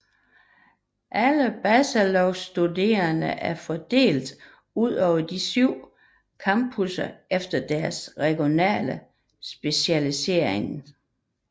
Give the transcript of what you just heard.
Alle bachelorstuderende er fordelt udover de syv campuser efter deres regionale specialisering